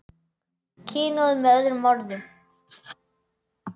Kynóður með öðrum orðum.